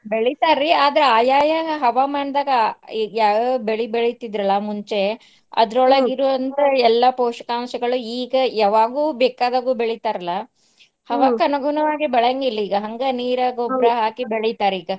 ಬೆಳಿತಾರ್ರಿ ಆದ್ರ ಆಯಾಯಾ ಹವಾಮಾನದಾಗ ಈಗ್ಯಾವ್ಯಾವ ಬೆಳಿ ಬೆಳಿತಿದ್ರಲ್ಲಾ ಮುಂಚೆ ಎಲ್ಲಾ ಪೋಷಕಾಂಶಗಳು ಈಗ ಯಾವಾಗೂ ಬೇಕಾದಾಗು ಬೆಳಿತಾರ್ಲಾ ಬೆಳಿಯಂಗಿಲ್ಲ ಈಗ ಹಂಗ ನೀರ ಹಾಕಿ ಬೆಳಿತಾರಿಗ.